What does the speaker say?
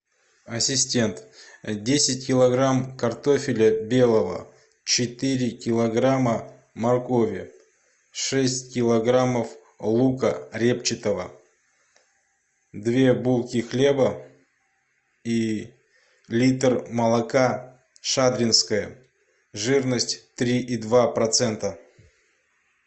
ассистент десять килограмм картофеля белого четыре килограмма моркови шесть килограммов лука репчатого две булки хлеба и литр молока шадринское жирность три и два процента